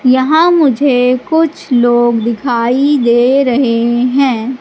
यहां मुझे कुछ लोग दिखाई दे रहे हैं।